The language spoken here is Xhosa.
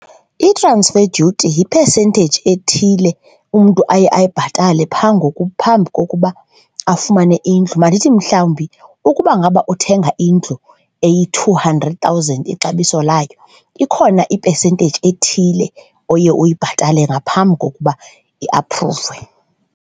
I-transfer duty yipesenteyiji ethile umntu aye ayibhatale phaa ngoku, phambi kokuba afumane indlu, mandithi mhlawumbi ukuba ngaba uthenga indlu eyi-two hundred thousand ixabiso layo ikhona ipesenteyiji ethile oye uyibhatale ngaphambi kokuba iaphruvwe.